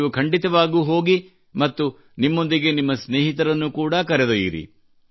ನೀವು ಖಂಡಿತವಾಗಿಯೂ ಹೋಗಿ ಮತ್ತು ನಿಮ್ಮೊಂದಿಗೆ ನಿಮ್ಮ ಸ್ನೇಹಿತರನ್ನು ಕೂಡಾ ಕರೆದೊಯ್ಯಿರಿ